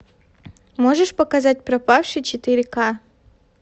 можешь показать пропавший четыре ка